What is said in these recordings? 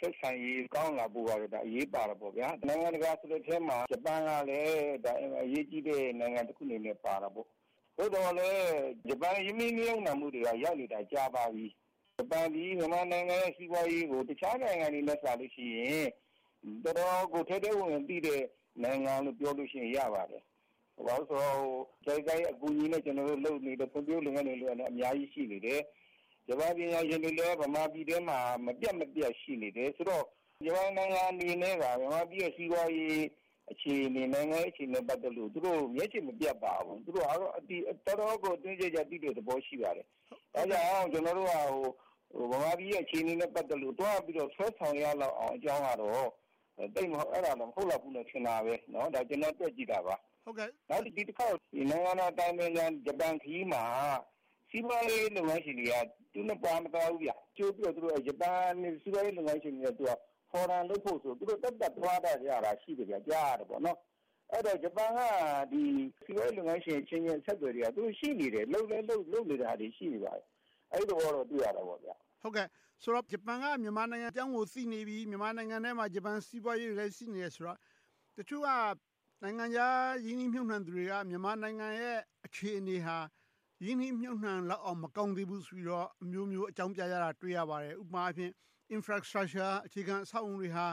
ဆက်ဆံရေး ကောင်းလာဖို့က အရေးပါတယ်။ နိုင်ငံတကာအထဲမှာ ဂျပန်ကလည်း အင်မတန် အရေးကြီးတဲ့ နိုင်ငံတခုအနေနဲ့ ပါတယ်။ သို့သော်လဲ ဂျပန် ရင်းနှီးမြုပ်နံှမှုတွေက ရောက်နေတာ ကြာပါပြီ။ ဂျပန်သည် မြန်မာနိုင်ငံရဲ့ စီးပွားရေးကို တခြားနိုင်ငံတွေထက်စာရင် တော်တော်ကို ထဲထဲဝင်ဝင် သိတဲ့နိုင်ငံလို့ ပြောလို့ရှိရင် ရပါတယ်။ ဘာဖြစ်လို့လဲဆိုရင် JICA အကူအညီနဲ့ လုပ်နေတဲ့ ဖွံ့ဖြိုးရေးလုပ်ငန်းတွေ အများကြီးရှိနေတယ်။ ဂျပန်ပညာရှင်တွေလည်း မြန်မာပြည်ထဲမှာ မပြတ်မပြတ် ရှိနေတယ်ဆိုတော့ ဂျပန်နိုင်ငံအနေနဲ့ မြန်မာနိုင်ငံ စီးပွားရေးအခြေအနေ၊ နိုင်ငံရေးအခြေအနေနဲ့ ပတ်သက်လို့ သူတို့ မျက်ခြေမပြတ်ပါဘူး။ တော်တော်ကို အတွင်းကျကျ သိတဲ့သဘောရှိပါတယ်။ အဲဒါကြောင့် ကျနော်တို့က ဗမာပြည်ရဲ့ အခြေအနေနဲ့ ပတ်သက်လို့ သွားပြီးတော့ ဆွဲဆောင်လောက်ရအောင် အကြောင်းကတော့ အဲဒါ မဟုတ်လောက်ဘူးလောက်တော့ ထင်တာပဲ။ ဒါ ကျနော် တွက်ကြည့်တာပါ။ နောက် ဒီတခေါက် နိုင်ငံတော် အတိုင်ပင်ခံရဲ့ ဂျပန်ခရီးမှာ စီးပွားရေးလုပ်ငန်းရှင်တွေက ပါမသွားဘူး။ ကြိုပြီးတော့ ဂျပန် စီးပွားရေးလုပ်ငန်းရှင်တွေက Forum လုပ်ဖို့ဆိုပြီး သူတို့သက်သက်သွားကြတာရှိတယ်။ ကြားရတယ်။ အဲဒီတော့ ဂျပန်က စီးပွားရေးလုပ်ငန်းရှင်အချင်းချင်း ဆက်သွယ်မှုက ရှိနေတယ်။ န ဆိုတော့ ဂျပန်က မြန်မာနိုင်ငံအကြောင်းကို သိနေပြီ။ မြန်မာနိုင်ငံထဲမှာ ဂျပန်စီးပွားရေးတွေလည်း ရှိနေတယ်ဆိုတော့။ တချို့က နိုင်ငံခြားရင်းနှီးမြုပ်နံှသူတွေက မြန်မာနိုင်ငံရဲ့ အခြေအနေဟာ ရင်းနှီးမြုပ်နံှလောက်အောင် မကောင်းသေးဘူးလို့ အမျိုးမျိုးအကြောင်းပြကြတာတွေ တွေ့ရပါတယ်။ ဥပမာအားဖြင့် Infrastructure အခြေခံအဆောက်အအုံတွေဟာ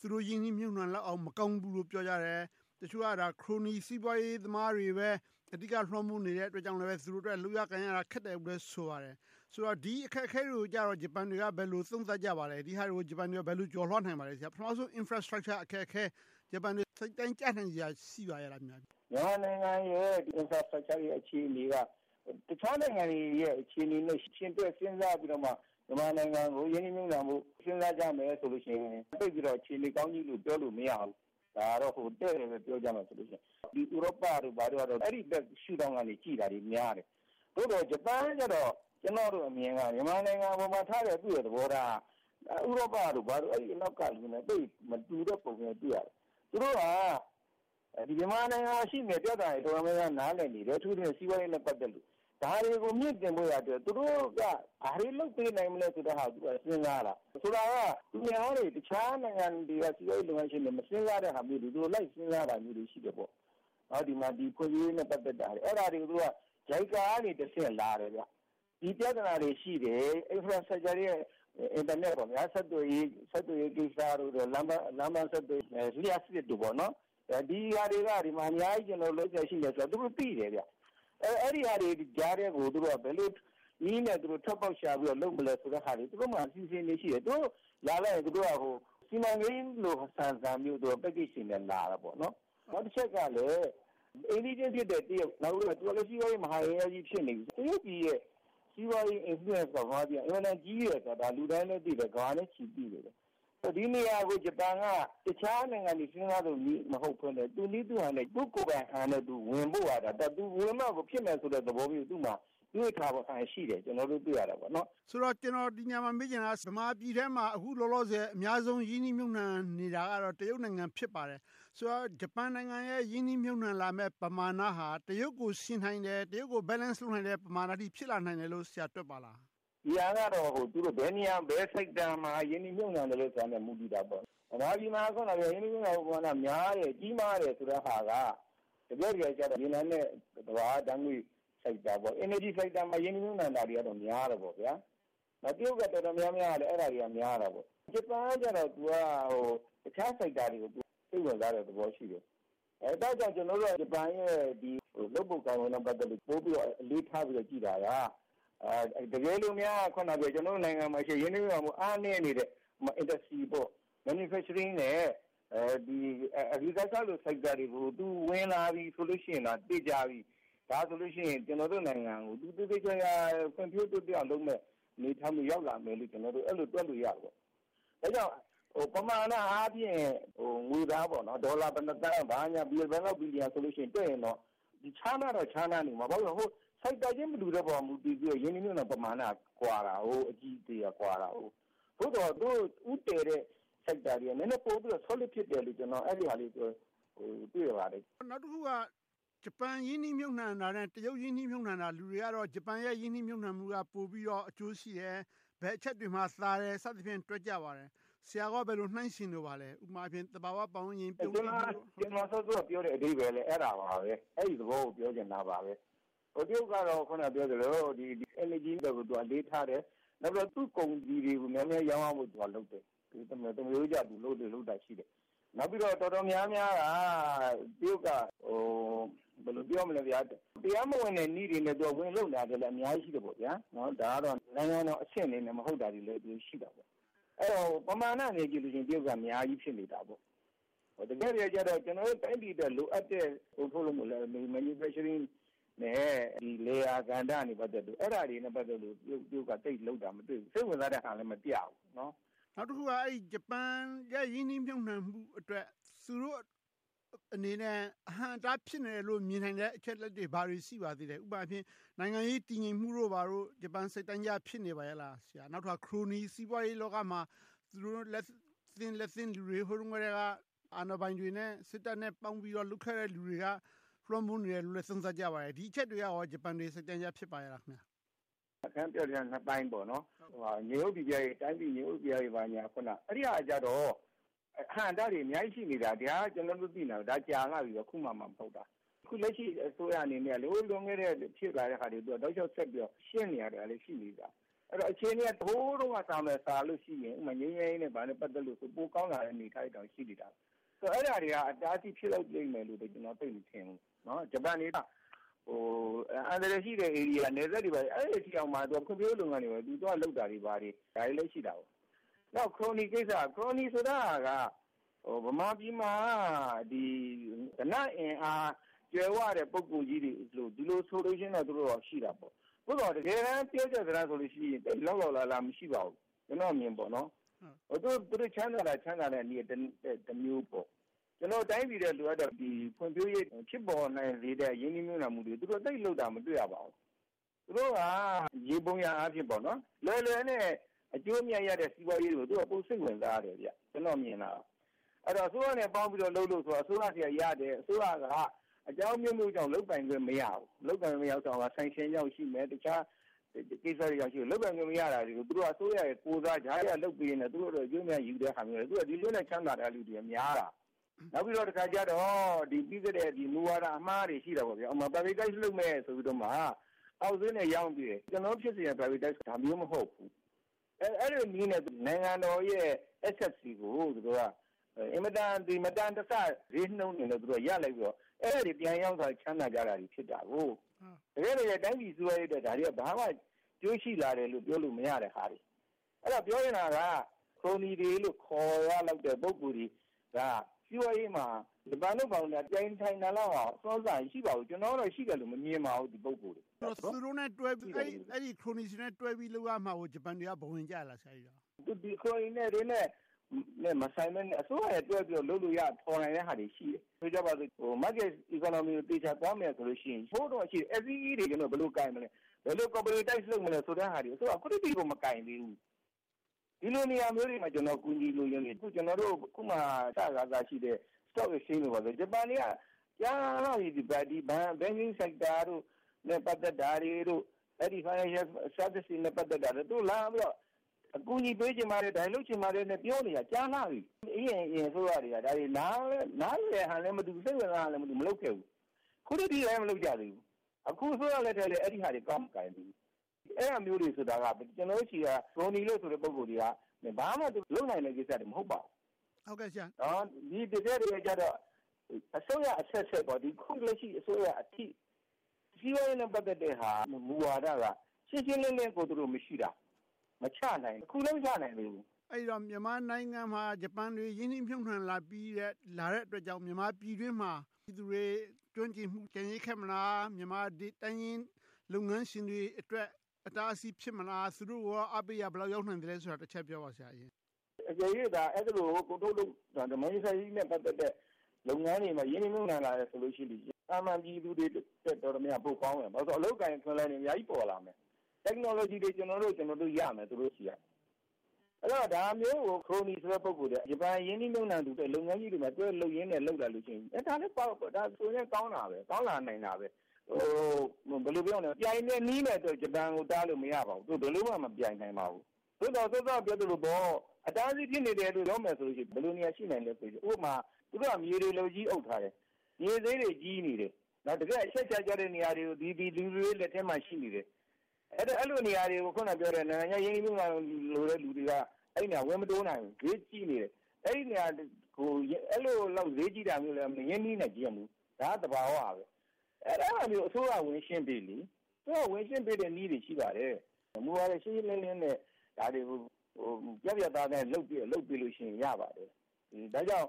သူတို့ ရင်းနှီးမြုပ်နံှလောက်အောင် မကောင်းသေးဘူးလို့ ပြောကြတယ်။ တချို့က ခရိုနီ စီးပွားရေးသမားတွေပဲ အဓိက လွှမ်းမိုးနေတဲ့အတွက်ကြောင့်လည်း သူတို့အတွက် လုပ်ရကိုင်ရတာ ခက်တယ်လို့ ဆိုပါတယ်။ ဆိုတော့ ဒီအခက်အခဲတွေကြတော့ ဂျပန်တွေက ဘယ်လို သုံးသပ်ကြပါလဲ။ ဒီဟာတွေကို ဂျပန်တွေက ဘယ်လို ကျော်လွှားနိုင်ပါ့မလဲ။ ပထမဦးဆုံး Infrastructure အခက်အခဲ။ ဂျပန်တွေ စိတ်တိုင်းကျနိုင်စရာ ရှိပါရဲ့လား။ မြန်မာနိုင်ငံရဲ့ Infrastructure အခြေအနေက တခြားနိုင်ငံတွေရဲ့ အခြေအနေနဲ့ ယှဉ်တွဲစဉ်းစားပြီးမှ မြန်မာနိုင်ငံကို ရင်းနှီးမြုပ်နံှမှု စဉ်းစားကြမယ်ဆိုရင် သိပ်ပြီးတော့ အခြေအနေကောင်းကြီးလို့ ပြောလို့မရဘူး။ ဒါက တည့်တည့်ပဲ ပြောရမယ်ဆိုရင် ဥရောပတို့ ဘာတို့ကတော့ အဲဒီ ရှုထောင့်ကနေ ကြည့်တာတွေများတယ်။ သို့သော် ဂျပန်ကကြတော့ ကျနော်တို့အမြင်က မြန်မာနိုင်ငံအပေါ်ထားတဲ့ သူ့ရဲ့သဘောထားက ဥရောပတို့ဘာတို့ အနောက်ကနဲ့ မတူတဲ့ပုံ ကြည့်ရတယ်။ သို့သော် သူတို့က မြန်မာနိုင်ငံမှာရှိတဲ့ ပြဿနာတွေ တော်တော်များများ နားလည်နိုင်တယ်။ အထူးသဖြင့် စီးပွားရေး ပတ်သတ်လို့။ ဒါတွေကို မြှင့်တင်ဖို့က သူတို့က ဘာတွေလုပ်ပေးနိုင်မလဲဆိုတာက ပညာပါ။ ဆိုလိုတာက သူများတွေ တခြားနိုင်ငံတွေက စီးပွားရေးလုပ်ငန်းရှင်တွေ မစဉ်းစားတဲ့ဟာမျိုးတွေ သူတို့ လိုက်စဉ်းစားမျိုးတွေ ရှိတယ်။ ဒီမှာ ဖွံ့ဖြိုးရေးနဲ့ ပတ်သက်တာတွေ။ အဲဒါတွေကို JICA ကတဆင့် လာတယ်။ ဒီပြဿနာတွေရှိတယ်။ Infrastructure.. Internet ဆက်သွယ်ရေးကိစ္စ၊ လမ်းပန်ဆက်သွယ်ရေးကိစ္စ၊ လျှပ်စစ်တို့ ဒီဟာတွေက အများကြီး လုပ်စရာရှိတယ်ဆိုတာကို သူတို့ သိတယ်။ အဲဒီဟာတွေကြားကို ဘယ်လိုနည်းနဲ့ ထိုးဖောက်ရှာ လုပ်မလဲဆိုတဲ့ဟာတွေ သူတို့မှာ အစီအစဉ်တွေရှိတယ်။ သူတို့က လာလိုက်ရင် စီမံကိန်းကြီးလိုဆန်ဆန်မျိုး Package ရှင်တွေက လာတာ။ နောက်တချက်ကလဲ အိမ်နီးချင်းဖြစ်တဲ့ တရုတ် - သူကလည်း စီးပွားရေးမဟာအင်အားကြီး ဖြစ်နေပြီ။ တရုတ်ပြည်ရဲ့ စီးပွားရေး Influence က အင်မတန်ကြီးတယ်ဆိုတာ လူတိုင်းလည်းသိတယ်။ ကမ္ဘာနဲ့ချီသိတယ်။ ဒီနေရာကို ဂျပန်က တခြားနိုင်ငံတွေ စဉ်းစားသလိုမျိုး မဟုတ်ဘဲ၊ သူ့နည်းသူ့ဟန် ကိုယ်ပိုင်ဟန်နဲ့ ဝင်ဖို့ဟာ။ သူ ဝင်မှကို ဖြစ်မယ်ဆိုတဲ့ သဘောမျိုး သူမှာ တွေးထားဟန်ရှိတယ်လို့ ကျနော်တို့ သိရတယ်။ ဆိုတော့ ကျနော် ဒီနေရာမှာ မေးချင်တာက ဗမာပြည်ထဲမှာ အခုလောလောဆယ် အများဆုံး ရင်းနှီးမြုပ်နံှနေတာကတော့ တရုတ်နိုင်ငံ ဖြစ်ပါတယ်။ ဆိုတော့ ဂျပန်နိုင်ငံရဲ့ ရင်းနှီးမြုပ်နံှလာမယ့် ပမာဏဟာ တရုတ်ကို ယှဉ်နိုင်တယ် Balance လုပ်နိုင်တဲ့ ပမာဏအထိ ဖြစ်လာနိုင်တယ်လို့ ဆရာ တွက်ပါလား။ ဒီဟာကတော့ ဘယ်နေရာ ဘယ် Sector မှာ ရင်းနှီးမြုပ်နံှမလဲဆိုတာနဲ့ မူတည်တာပေါ့။ ဗမာပြည်မှာက ရင်းနှီးမြုပ်နံှမှု များတယ်၊ ကြီးမားတယ်ဆိုတာက တကယ့်တကယ်ကြတော့ မြင်နိုင်တဲ့ သဘာဝဓါတ်ငွေ Sector ပေါ့။ Energy Sector မှာ ရင်းနှီးမြုပ်နံှတာတွေက များတယ်။ တရုတ်က တော်တော်များများကလည်း အဲဒါတွေ များတာပေါ့။ ဂျပန်ကတော့ တခြား Sector တွေကို စိတ်ဝင်စားတာ ရှိတယ်။ ဒါကြောင့် ကျနော်တို့က ဂျပန်ရဲ့ လုပ်ပုံကိုင်ပုံနဲ့ ပတ်သက်လို့ ပိုပြီးတော့ အလေးထားပြီး ကြည့်တာက တကယ်လို့များ ကျနော်တို့နိုင်ငံမှာရှိတဲ့ ရင်းနှီးမြုပ်နံှမှု အားနည်းနေတဲ့ Industry နဲ့ Manufacturing နဲ့ Agricultural sectors တွေကို သူ ဝင်လာပြီဆိုရင်တော့ သေချာပြီ… ဒါဆိုလို့ရှိရင် ကျနော်တို့နိုင်ငံကို သူ သေသေချာချာ ဖွံ့ဖြိုးတိုးတက်အောင်လုပ်မယ့် အနေအထားမျိုး ရောက်လာမယ်လို့ ကျနော်တို့ အဲဒီလို တွက်လို့ရတယ်။ ဒါကြောင့် ပမာဏအားဖြင့် ငွေသား ဒေါ်လာ ဘယ်နှစ်သန်း ဘာညာ ဘယ်လောက် ဘီလီယန်ဆိုရင်တော့ ခြားနားတော့ ခြားနားနေမယ်။ ဘာဖြစ်လို့လဲဆိုတော့ Sector မတူတဲ့ပေါ်မှာ ရင်းနှီးမြုပ်နံှမှု ပမာဏ က ကွာတယ်။ အကြီးအသေးက ကွာတယ်။ သို့သော် ဦးတည်တဲ့ Sector တွေက နည်းနည်းပို Solid ဖြစ်တယ်လို့ အဲဒီဟာလေး သိခဲ့ရပါတယ်။ နောက်တခုက ဂျပန် ရင်းနှီးမြုပ်နံှတာနဲ့ တရုတ် ရင်းနှီးမြုပ်နံှတာ လူတွေကတော့ ဂျပန်ရဲ့ ရင်းနှီးမြုပ်နံှမှုက ပိုပြီးတော့ အကျိုးရှိတယ်။ ဘယ်အချက်တွေမှာ သာတယ် စသည်ဖြင့် တွက်ကြပါတယ်။ ဆရာကော ဘယ်လို နှိုင်းယှဉ်လိုပါလဲ။ ဥပမာ သဘာဝပတ်ဝန်းကျင် ပြုန်းတီးမှုမျိုး။ ကျနော် စောစောကပြောတဲ့ အဓိပ္ပါယ်လဲ အဲဒါပါပဲ။ အဲဒီသဘောကို ပြောချင်တာပါပဲ။ တရုတ်ကတော့ Energy ဘက်ကို အလေးထားတယ်။ နောက် သူ့ကုန်စည်တွေကို များများရောင်းရဖို့ လုပ်တယ်။ သမာရိုးကျ လုပ်လေ့လုပ်ထ ရှိတယ်။ နောက်ပြီးတော့ တော်တော်များများက တရုတ်က တရားမဝင်တဲ့နည်းတွေနဲ့ ဝင်လုပ်နေတာ အများကြီးရှိတယ်။ ဒါကတော့ နိုင်ငံတော်အဆင့်အနေနဲ့ မဟုတ်တာတွေလည်း ရှိတာပေါ့။ အဲဒီတော့ ပမာဏအနေနဲ့ ကြည့်ရင် တရုတ်က အများကြီး ဖြစ်နေတာပေါ့။ တကယ့်တကယ်ကြတော့ ကျနော်တို့ တိုင်းပြည်အတွက် လိုအပ်တဲ့ ကုန်ထုတ်လုပ်မှု Manufacturing နဲ့ လယ်ယာကဏ္ဍတွေနဲ့ ပတ်သက်လို့ တရုတ်ကလုပ်တာ သိပ်မတွေ့ဘူး။ စိတ်ဝင်စားဟန်လဲ မပြဘူး။ နောက်တခုက ဂျပန်ရဲ့ ရင်းနှီးမြုပ်နံှမှုအတွက် သူတို့အနေနဲ့ အဟန့်အတား ဖြစ်နေတယ်လို့ မြင်နိုင်တဲ့ အချက်အလက်တွေ ဘာတွေ ရှိနိုင်လဲ။ ဥပမာအားဖြင့် နိုင်ငံရေး တည်ငြိမ်မှုတို့ ဘာတို့။ ဂျပန်က စိတ်တိုင်းကျ ဖြစ်နေပါရဲ့လား။ နောက်တခါ ခရိုနီ စီးပွားရေးလောကမှာ သူတို့နဲ့ လက်သင့်တဲ့လူတွေ ဟိုတုန်းကတည်းက အာဏာပိုင်တွေနဲ့ စစ်တပ်နဲ့ ပေါင်းခဲ့တဲ့လူတွေက လွှမ်းမိုးနေတယ်လို့ သုံးသပ်ကြပါတယ်။ ဒီအချက်တွေက ဂျပန်တွေ စိတ်တိုင်းကျ ဖြစ်ပါရဲ့လား။ ခင်များ ပြောချင်တာက နှစ်ပိုင်းပေါ့။ တိုင်းပြည်ငြိမ်းအုပ်ပိပြားရေးကတော့ အဟန့်အတားတွေ အများကြီး ရှိနေတာ… ဒီဟာ ကျနော်တို့ သိနေတာ ကြာလှပြီ။ အခုမှာမှ မဟုတ်တာ။ အခုလက်ရှိ အစိုးရအနေနဲ့ ဟိုလွန်ခဲ့တဲ့ ဖြစ်လာတဲ့ဟာတွေအတွက် တောက်လျှောက်ဆက်ပြီးတော့ ရှင်းလင်းနေတာလည်း ရှိနေတယ်။ အခြေအနေက ဟိုတုန်းကထက်စာလို့ရှိရင် ငြိမ်းချမ်းရေးနဲ့ ပတ်သက်လို့ရှိရင် ပိုကောင်းလာတာတွေ ရှိနေတယ်။ အဲဒါတွေက အတားအဆီး ဖြစ်လိမ့်မယ်လို့ ကျနော် သိပ်မထင်ဘူး။ ဂျပန်တွေက အန္တရာယ်ရှိတဲ့ ဧရီယာ နယ်စပ်တွေအထိ ဖွံ့ဖြိုးရေးလုပ်ငန်းတွေ သွားလုပ်တာတွေ ဒါတွေလည်း ရှိတယ်။ နောက် ခရိုနီကိစ္စ… ခရိုနီဆိုတာက ဗမာပြည်မှာက ဓနအင်အားကြွယ်ဝတဲ့ ပုဂ္ဂိုလ်ကြီးတွေလို့ ဒီလို ဆိုလိုခြင်းတော့ ရှိတာပေါ့။ သို့သော် တကယ်တမ်း ပြောကြစတမ်းဆိုရင် သိပ်လောက်လောက်လားလား မရှိပါဘူး။ ကျနော့်အမြင်ပေါ့။ သူတို့ချမ်းသာတာ ချမ်းသာတာကတနည်းတမျိုးပေါ့။ တိုင်းပြည်အတွက် လိုအပ်တဲ့ ဖွံ့ဖြိုးရေး ဖြစ်ပေါ်နိုင်စေတဲ့ ရင်းနှီးမြုပ်နံှမှုတွေ သူတို့ သိပ်လိုတာ မတွေ့ရပါဘူး။ သူတို့က ယေဘုယျအားဖြင့် လွယ်လွယ်နဲ့ အကျိုးအမြတ်ရတဲ့ စီးပွားရေးကို ပိုစိတ်ဝင်စားတယ်။ အဲဒီတော့ အစိုးရနဲ့ပေါင်းပြီးတော့လုပ်လို့ဆိုတာ အစိုးရဆီကရတဲ့ အစိုးရက အကြောင်းအမျိုးမျိုးကြောင့် လုပ်ပိုင်ခွင့် မရဘူး။ လုပ်ပိုင်ခွင့် မရဘူးဆိုတာ Sanction ကြောင့်ဖြစ်မယ်။ တခြားကိစ္စတွေ ရှိမယ်။ လုပ်ပိုင်ခွင့် မရတာတွေကို အစိုးရရဲ့ကိုယ်စား ကြားထဲက လုပ်ပေးနေတာ၊ သူတို့အတွက် အကျိုးအမြတ်ယူတာတွေ။ ဒီလိုမျိုးနဲ့ ချမ်းသာနေတဲ့လူတွေက များတာ။ နောက်ပြီးတော့ တခါကြတော့ ပြီးခဲ့တဲ့ မူဝါဒ အမှားတွေ ရှိတာပေါ့။ ဥပမာ Privatize လုပ်မယ်ဆိုပြီးမှ အောက်ဈေးနဲ့ ရောင်းပြစ်တာ။ ကျနော်တို့ ဖြစ်စေချင်တဲ့ Privatize ဆိုတာ ဒါမျိုး မဟုတ်ဘူး။ အဲဒီလိုနည်းနဲ့ နိုင်ငံတော်ရဲ့ Assets တွေကို အင်မတန် မတန်တဆ ဈေးနှုန်းတွေနဲ့ သူတို့က ရလိုက်တော့ အဲဒါတွေ ပြန်ရောင်းစားပြီး ချမ်းသာကြတာ။ တကယ့်တကယ် တိုင်းပြည်စီးပွားရေးအတွက် ဒါတွေက အကျိုးရှိလာတယ်လို့ ပြောလို့မရတဲ့ဟာတွေ။ အဲဒီတော့ ပြောချင်တာက ခရိုနီတွေလို့ ခေါ်ရလောက်တဲ့ ပုဂ္ဂိုလ်တွေက စီးပွားရေးမှာ ပြိုင်ဆိုင်နိုင်လောက်အောင် အစွမ်းအစ မရှိပါဘူး။ ကျနော်ကတော့ ရှိတယ်လို့ မမြင်ပါဘူး။ အဲဒီ ခရိုနီတွေနဲ့ တွဲပြီးလုပ်ရမှာကို ဂျပန်တွေက ဘဝင်ကျလား။ ခရိုနီတွေနဲ့ မဆိုင်ဘဲနဲ့ အစိုးရနဲ့တွဲပြီလုပ်လို့ရ၊ ဖော်နိုင်တဲ့ဟာတွေ ရှိတယ်။ ဆိုကြပါစို့ Market Economy ကို သေချာသွားမယ်ဆိုရင် ဟိုတုန်းကရှိတယ် FEE တွေ ဘယ်လို ကိုင်မလဲ။ ဘယ်လို… လုပ်မလဲဆိုတာတွေကို အစိုးရက အခုထိ မကိုင်သေးဘူး။ ဒီလိုနေရာမျိုးတွေမှာ ကျနော် အကူအညီ လိုချင်တယ်။ ကျနော်တို့ အခုမှ စခါစရှိတဲ့… တို့ဘာတို့ ဂျပန်တွေက ကြာလှပြီ ဒီ Banking sector နဲ့ ပတ်သက်တာတွေ၊ Financial service တွေနဲ့ ပတ်သက်တာတွေ သူလာပြီးတော့ အကူအညီပေးချင်ပါတယ်။ လုပ်ချင်ပါတယ်လို့ ပြောနေတာ ကြာလှပြီ။ အရင့်အရင် အစိုးရတွေက နားလည်ဟန်လဲ မတူဘူး။ စိတ်ဝင်စားဟန်လဲ မတွေ့ဘူး။ မလုပ်ခဲ့ဘူး။ အခုထက်ထိလဲ မလုပ်ကြသေးဘူး။ အခု အစိုးရလက်ထက်လဲ အဲဒီဟာတွေ စမကိုင်သေးဘူး။ အဲဒါမျိုးတွေဆိုတာက ကျနော်တို့ဆီက ခရိုနီဆိုတဲ့ ပုဂ္ဂိုလ်တွေက ဘာမှ လုပ်နိုင်တဲ့ကိစ္စတွေ မဟုတ်ပါဘူး။ တကယ့်တကယ်ကြတော့ အစိုးရအဆက်ဆက် အခုအစိုးရအထိ စီးပွားရေးနဲ့ ပတ်သက်တဲ့ဟာ မူဝါဒက ရှင်းရှင်းလင်းလင်းကို မရှိတာ။ မချနိုင်၊ အခုလဲ မချနိုင်သေးဘူး။ အဲဒီတော့ မြန်မာနိုင်ငံမှာ ဂျပန်တွေ ရင်းနှီးမြုပ်နံှလာပြီးတဲ့ လာတဲ့အတွက်ကြောင့် မြန်မာပြည်တွင်းမှာ ပြည်သူတွေ ကျွမ်းကျင်မှု ကျန်ရစ်ခဲ့မလား။ မြန်မာတိုင်းရင်း လုပ်ငန်းရှင်တွေအတွက် အတားအဆီး ဖြစ်မလား။ သူတို့ကို အားပေးရာ ဘယ်လောက်ရောက်နိုင်သလဲဆိုတာ တချက်ပြောပါ။ အကယ်၍သာ အဲဒီလို ကုန်ထုတ်လုပ်မှု Manufacturing နဲ့ ပတ်သက်တဲ့ လုပ်ငန်းတွေမှာ ရင်းနှီးမြုပ်နံှလာတယ်ဆိုရင် သာမန်ပြည်သူတွေထက် တော်တော်များများ ပိုကောင်းမယ်။ ဘာဖြစ်လို့လဲဆိုတော့ အလုပ်အကိုင် အခွင့်အလမ်းတွေ အများကြီး ပေါ်လာမယ်။ Technology တွေ ကျနော်တို့ ရမယ်။ ဒါမျိုးကို ခရိုနီဆိုတဲ့ ပုဂ္ဂိုလ်တွေက ဂျပန် ရင်းနှီးမြုပ်နံှသူ လုပ်ငန်းကြီးတွေ တွဲလုပ်လာလို့ရှိရင် ဒါဆိုလဲ ကောင်းတာပဲ။ ကောင်းလာနိုင်တာပဲ။ ပြိုင်ဘက်နည်းနဲ့တော့ ဂျပန်ကို တားလို့မရပါဘူး။ ဘယ်လိုမှ မပြိုင်နိုင်ပါဘူး။ သို့သော် စောစောက ပြောသလို အတားအဆီး ဖြစ်နေတယ်လို့ ပြောမယ်ဆိုရင် ဘယ်လိုနေရာ ရှိနိုင်သလဲဆိုရင် ဥပမာ သူတို့က မြေတွေ လက်ဝါးကြီးအုပ်ထားတယ်။ မြေဈေးတွေ ကြီးနေတယ်။ တကယ့် အချက်အခြာကျတဲ့ နေရာတွေကို ဒီလူတွေရဲ့ လက်ထဲမှာ ရှိနေတယ်။ အဲဒီနေရာတွေကို အခုနပြောတဲ့ နိုင်ငံခြား ရင်းနှီးမြုပ်နံှလိုသူတွေက အဲဒီနေရာကို ဝင်မတိုးနိုင်ဘူး။ ဈေးကြီးနေတယ်။ အဲဒီလို ဈေးကြီးတာမျိုးလဲ မရင်းနှီးချင်ကြဘူး။ ဒါက သဘာဝပဲ။ အဲဒါမျိုးကို အစိုးရက ဝင်ရှင်းပေး။ ဝင်ရှင်းပေးတဲ့ နည်းတွေ ရှိပါတယ်။ မူဝါဒ ရှင်းရှင်းလင်းလင်းနဲ့ ဒါတွေကို ပြတ်ပြတ်သားသားနဲ့ လုပ်ပြစ်လုပ်ပေးလို့ရှိရင် ရပါတယ်။ ဒါကြောင့်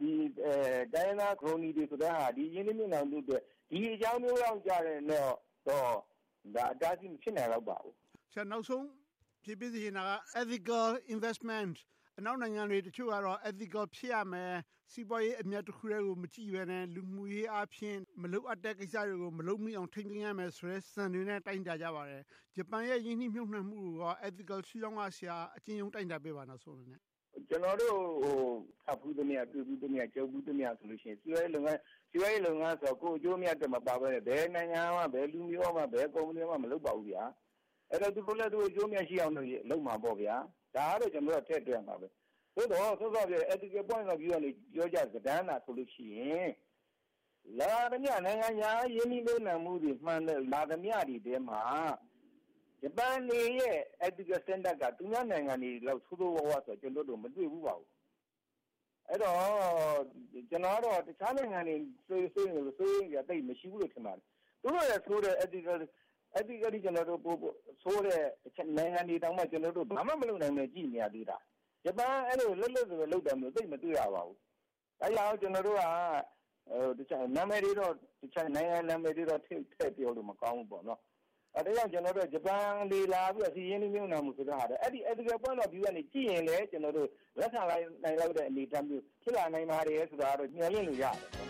တိုင်းရင်းသား ခရိုနီတွေဆိုတဲ့ဟာက ဒီရင်းနှီးမြုပ်နံှမှုအတွက် ဒီအကြောင်းမျိုးလောက်တော့ အတားအဆီး မဖြစ်နိုင်ပါဘူး။ နောက်ဆုံး ဖြေပေးစေချင်တာက Ethical Investment အနောက်နိုင်ငံတချို့ကတော့ Ethical ဖြစ်ရမယ်။ စီးပွားရေးတခုတည်းကို မကြည့်ဘဲနဲ့ လူမှုရေးအားဖြင့် မလိုအပ်တဲ့ကိစ္စတွေကို မလုပ်မိအောင် ထိန်းသိမ်းရမယ်ဆိုတဲ့ စံနှုန်းတွေနဲ့ တိုင်းတာကြပါတယ်။ ဂျပန်ရဲ့ ရင်းနှီးမြုပ်နံှမှုကိုရော Ethical ရှုထောင့်က အကျဉ်းရုံး တိုင်းတာပေးပါ။ ကျနော်တို့ ဖတ်ဖူးသမျှ၊ ပြုစုဖူးသမျှ၊ ကြုံဖူးသမျှဆိုရင် စီးပွားရေးလုပ်ငန်းဆိုတာ ကိုယ့်အကျိုးအမြတ်အတွက် မပါဘဲနဲ့ ဘယ်နိုင်ငံမှ၊ ဘယ်လူမျိုး၊ ဘယ်ကုမ္ပဏီမှ မလုပ်ပါဘူး။ အဲဒီတော့ သူတို့လည်း သူတို့အကျိုးအမြတ်ရှိအောင် လုပ်မှာပေါ့။ ဒါကိုတော့ ကျနော်တို့ ထည့်တွက်ရမှာပဲ။ သို့သော် စောစောကပြောတဲ့ Ethical Point of View က ပြောကြစတမ်းဆိုရင် လာသမျှ နိုင်ငံခြားရင်းနှီးမြုပ်နံှမှုတွေ မှန်သမျှသည်တွေထဲမှာ ဂျပန်တွေရဲ့ Ethical Standard က သူများနိုင်ငံတွေလောက် ဆိုးဆိုးဝါးဝါးဆိုတာ ကျနော်တို့ မတွေ့ဖူးပါဘူး။ အဲဒီတော့ ကျနော်ကတော့ တခြားနိုင်ငံတွေ စိုးရိမ်သလို စိုးရိမ်စရာ သိပ်မရှိဘူးလို့ ထင်ပါတယ်။ သူတို့ထက်ဆိုးတဲ့ Ethically ဆိုးတဲ့ နိုင်ငံတွေတောင်မှ ဘာမှမလုပ်နိုင်ဘဲ ကြည့်နေရသေးတာ။ ဂျပန်က အဲဒီလို လက်လွှတ်စပယ်လုပ်တာ သိပ်မတွေ့ရပါဘူး။ အဲဒါကြောင့် ကျနော်တို့က နာမည်တွေတော့ နိုင်ငံနာမည်တွေတော့ ထည့်ပြောလို့ မကောင်းဘူးပေါ့။ အဲဒါကြောင့် ဂျပန်တွေ လာပြီးတော့ စီးပွားရေးရင်းနှီးမြုပ်နံှမှု ဆိုတာထက် အဲဒီ Ethical point of view က ကြည့်ရင်လဲ လက်ခံနိုင်လောက်တဲ့ အနေအထား ဖြစ်လာနိုင်ပါတယ်ဆိုတာတော့ မျှော်လင့်လို့ရပါတယ်